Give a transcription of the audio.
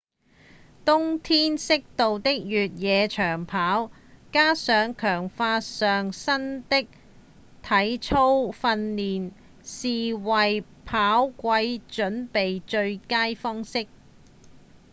冬天適度的越野長跑加上強化上身的體操訓練是為跑季準備的最佳方式